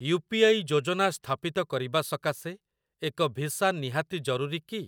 You P I ଯୋଜନା ସ୍ଥାପିତ କରିବା ସକାଶେ ଏକ ଭିସା ନିହାତି ଜରୁରୀ କି?